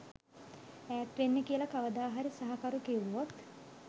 ඈත් වෙන්න කියලා කවදාහරි සහකරු කිව්වොත්?